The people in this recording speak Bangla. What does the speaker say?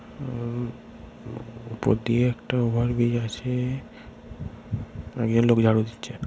উম উম উপর দিয়ে একটা ওভারব্রিজ আছে একজন লোক ঝাড়ু দিচ্ছে।